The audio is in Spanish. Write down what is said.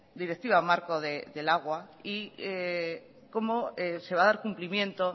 directiva marco del agua y cómo se va a dar cumplimiento